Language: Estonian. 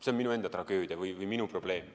See on minu enda tragöödia või minu probleem.